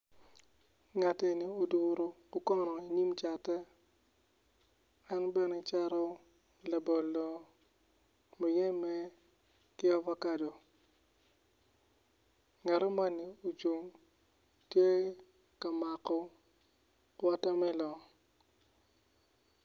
Ngat eni oduro okono i nyim kacatte en bene cato labolo muyembe ki ovakado ngato moni ocung tye ka mako wotamelon.